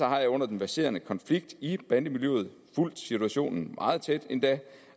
har jeg under den verserende konflikt i bandemiljøet fulgt situationen meget tæt endda